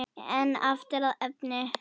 En aftur að efninu.